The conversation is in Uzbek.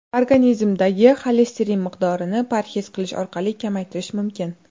Organizmdagi xolesterin miqdorini parhez qilish orqali kamaytirish mumkin.